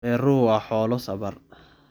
Dameeruhu waa xoolo sabar.